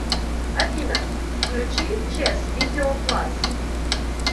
афина включи чес видео плас